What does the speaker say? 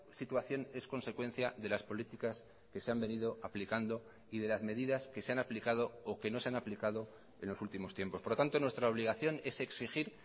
situación es consecuencia de las políticas que se han venido aplicando y de las medidas que se han aplicado o que no se han aplicado en los últimos tiempos por lo tanto nuestra obligación es exigir